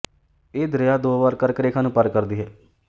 ਇਹ ਦਰਿਆ ਦੋ ਵਾਰ ਕਰਕ ਰੇਖਾ ਨੂੰ ਪਾਰ ਕਰਦੀ ਹੈ